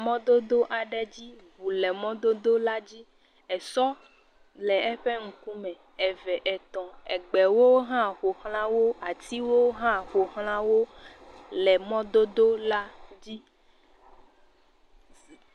Mɔdodo aɖe dzi, ŋu le mɔdodo la dzi esɔ le eƒe ŋkume eve, etɔ, gbewo ƒoxlawo, atiwo hã ƒoxla wo le mɔdodo la dzi.